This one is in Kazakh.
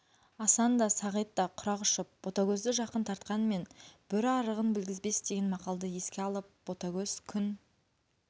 асан да сағит та құрақ ұшып ботагөзді жақын тартқанмен бөрі арығын білгізбес деген мақалды еске алып ботагөз күн